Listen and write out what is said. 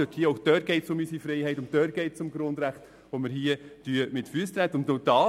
Auch dort geht es um unsere Freiheit und um die Grundrechte, die wir hier mit Füssen treten.